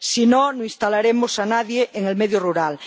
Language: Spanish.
si no, no instalaremos a nadie en el medio rural.